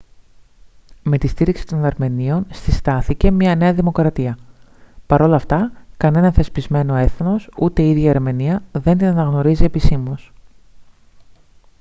με τη στήριξη των αρμενίων συστάθηκε μια νέα δημοκρατία παρ' όλα αυτά κανένα θεσπισμένο έθνος ούτε η ίδια η αρμενία δεν την αναγνωρίζει επισήμως